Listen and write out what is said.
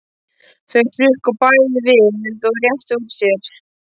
Þau hrukku bæði við og réttu úr sér.